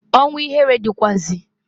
Ọnwu ihere dịkwaazi.